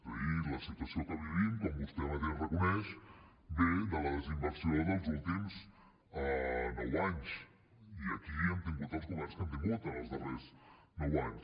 és a dir la situació que vivim com vostè mateix reconeix ve de la desinversió dels últims nou anys i aquí hem tingut els governs que hem tingut en els darrers nou anys